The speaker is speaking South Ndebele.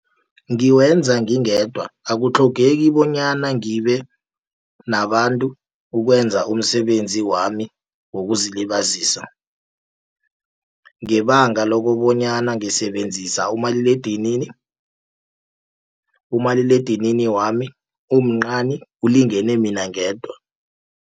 Ngiwenza ngingedwa akutlhogeki bonyana ngibe nabantu, ukwenza umsebenzi wami wokuzilibazisa. Ngebanga lokobonyana ngisebenzisa umaliledinini, umaliledinini wami mncani ulingene mina ngedwa.